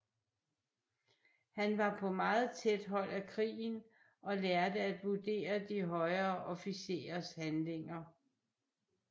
Han var på meget tæt hold af krigen og lærte at vurdere de højere officerers handlinger